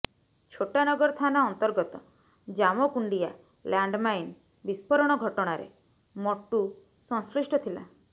ଛୋଟାନଗର ଥାନା ଅନ୍ତର୍ଗତ ଜାମକୁଣ୍ଡିଆ ଲାଣ୍ଡମାଇନ ବିସ୍ଫୋରଣ ଘଟଣାରେ ମଟୁ ସଂଶ୍ଲିଷ୍ଟ ଥିଲା